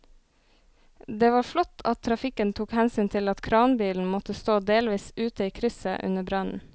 Det var flott at trafikken tok hensyn til at kranbilen måtte stå delvis ute i krysset under brannen.